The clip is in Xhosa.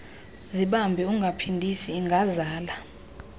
zibambe ungaphindisi ingazala